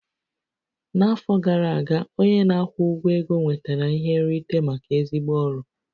N'afọ gara aga, onye na-akwụ ụgwọ ego nwetara ihe nrite maka ezigbo ọrụ